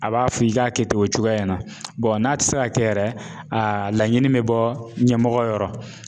A b'a fɔ i k'a kɛ ten o cogoya in na n'a tɛ se ka kɛ yɛrɛ a laɲini bɛ bɔ ɲɛmɔgɔ yɔrɔ.